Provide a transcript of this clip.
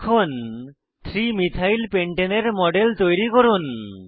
এখন 3 methyl pentane এর model তৈরি করুন